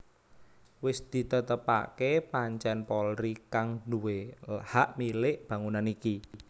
Wis ditetepaké pancèn Polri kang nduwé hak milik bangunan iki